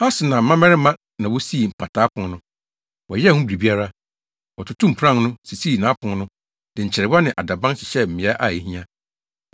Hasenaa mmabarima na wosii Mpataa Pon no. Wɔyɛɛ ho biribiara. Wɔtotoo mpuran no, sisii apon no, de nkyerewa ne adaban hyehyɛɛ mmeae a ehia.